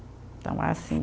Então, é assim.